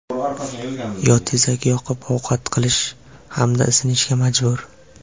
yo tezak yoqib ovqat qilish hamda isinishga majbur.